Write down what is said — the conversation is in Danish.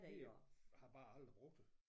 Vi har bare aldrig brugt det